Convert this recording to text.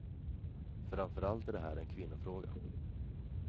Framför allt är det här en kvinnofråga.